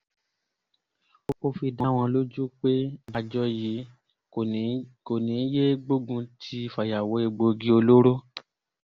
ó fi dá wọn lójú pé àjọ yìí kò ní í yéé gbógun ti fàyàwọ́ egbòogi olóró